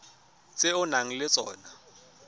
tse o nang le tsona